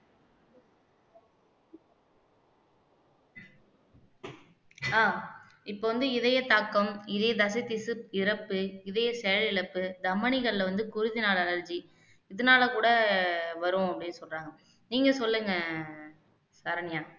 ஆஹ் இப்ப வந்து இதய தாக்கம் இதய தசை திசு இறப்பு இதய செயலிழப்பு தமணிகள்ல வந்து குருஜினால allergy இதனால கூட வரும் அப்படின்னு சொல்றாங்க நீங்க சொல்லுங்க சரண்யா